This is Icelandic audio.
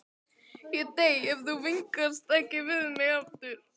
Ég dey ef þú vingast ekki við mig aftur.